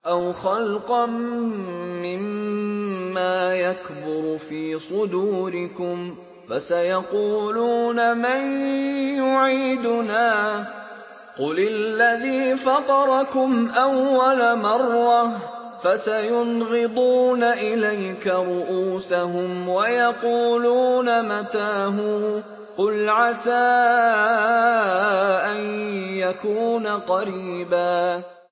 أَوْ خَلْقًا مِّمَّا يَكْبُرُ فِي صُدُورِكُمْ ۚ فَسَيَقُولُونَ مَن يُعِيدُنَا ۖ قُلِ الَّذِي فَطَرَكُمْ أَوَّلَ مَرَّةٍ ۚ فَسَيُنْغِضُونَ إِلَيْكَ رُءُوسَهُمْ وَيَقُولُونَ مَتَىٰ هُوَ ۖ قُلْ عَسَىٰ أَن يَكُونَ قَرِيبًا